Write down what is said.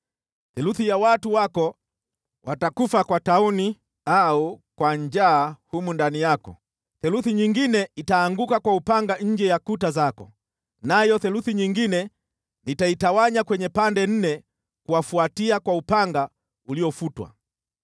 Theluthi ya watu wako watakufa kwa tauni au kwa njaa humu ndani yako, theluthi nyingine itaanguka kwa upanga nje ya kuta zako, nayo theluthi nyingine nitaitawanya kwenye pande nne kuwafuatia kwa upanga uliofutwa.